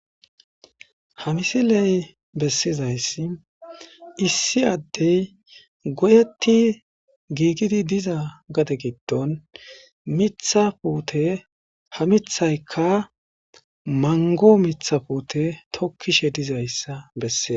ha misiley bessizayssi issi addey goyeti giigidi diza gade giddon mitha puute ha mithaykka mango mitha puute tokkishe dizayssa besseza